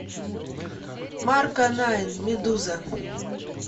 марко найн медуза